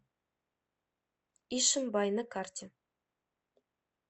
ишимбай на карте